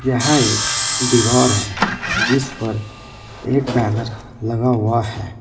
यह एक दीवार है जिस पर एक बैनर लगा हुआ है।